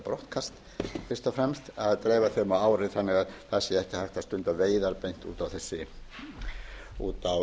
brottkast fyrst og fremst að dreifa þeim á árið þannig að það sé ekki hægt að stunda veiðar beint út á